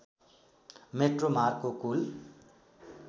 metro मार्गको कुल